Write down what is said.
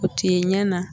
O tɛ ɲɛ na